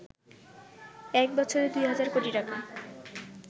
এক বছরে ২ হাজার কোটি টাকা